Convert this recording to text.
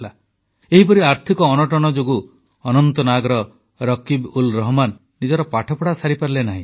ଏହିପରି ଆର୍ଥିକ ଅନଟନ ଯୋଗୁଁ ଅନନ୍ତନାଗର ରକୀବଉଲରହମାନ ନିଜର ପାଠପଢ଼ା ସାରିପାରିଲେ ନାହିଁ